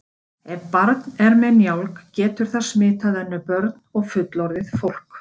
Ef barn er með njálg getur það smitað önnur börn og fullorðið fólk.